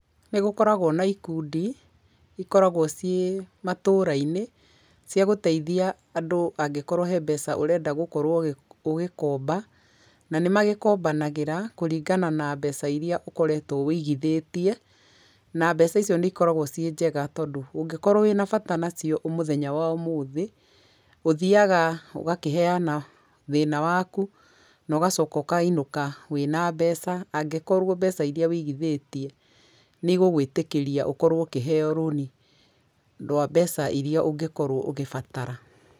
Nĩgũkoragwo na ikundi cikoragwo ciĩ matũũra-inĩ ciagũteithia andũ angĩkorwo he mbeca ũrenda gũkorwo ũgĩkomba na nanĩmagĩkombanagĩra kũringana na mbeca iria ũkoretwo wĩigithĩtie na mbeca icio nĩikoragwo ciĩ njega, tondũ ũngĩkorwo wĩna bata nacio mũthenya wa ũmũthiĩ, ũthiaga ũgakĩheana thĩna waku na ũgacoka ũkainũka wĩna mbeca, angĩkorwo mbeca iria wĩigithĩtie nĩigũgwĩtĩkĩria ũkorwo ũkĩheyo rũni rwa mbeca iria ũngĩkorwo ũgĩbatara.